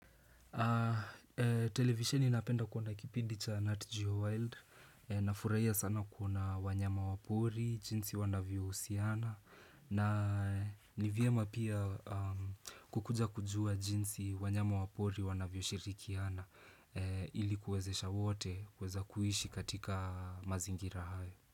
Televisheni napenda kuona kipindi cha Nat Jowild nafurahia sana kuona wanyama wa pori jinsi wanavyo husiana na ni vyema pia kukuja kujua jinsi wanyama wapori wanavyo shirikiana ilikuwezesha wote kueza kuishi katika mazingira haya.